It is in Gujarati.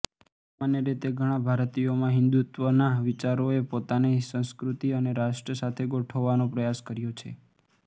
સામાન્ય રીતે ઘણા ભારતીયોમાં હિંદુત્વના વિચારોએ પોતાને સંસ્કૃતિ અને રાષ્ટ્ર સાથે ગોઠવવાનો પ્રયાસ કર્યો છે